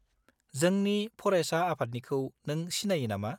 जोंनि फरायसा आफादनिखौ नों सिनायो नामा?